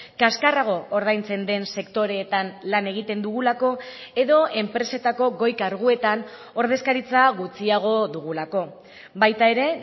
kaxkarrago ordaintzen den sektoreetan lan egiten dugulako edo enpresetako goi karguetan ordezkaritza gutxiago dugulako baita ere